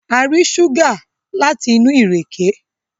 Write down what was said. A rí ṣúgà láti inú ìrèké